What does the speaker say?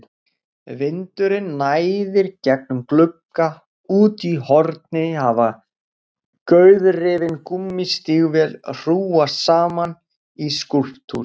Vindurinn næðir gegnum glugga, úti í horni hafa gauðrifin gúmmístígvél hrúgast saman í skúlptúr.